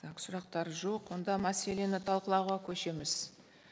так сұрақтар жоқ онда мәселені талқылауға көшеміз